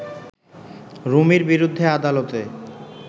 রুমির বিরুদ্ধে আদালতে